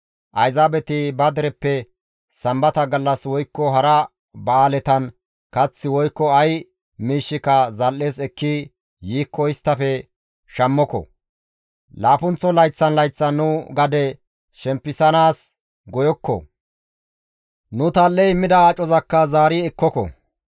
«Ayzaabeti ba dereppe Sambata gallas woykko hara ba7aaletan kath woykko ay miishshika zal7es ekki yiikko isttafe shammoko. Laappunththo layththan layththan nu gade shempisanaas goyokko; nu tal7e immida acozakka zaari ekkoko.